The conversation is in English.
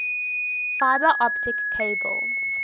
fiber optic cable